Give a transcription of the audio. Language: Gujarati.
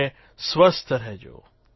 અને સ્વસ્થ રહેજો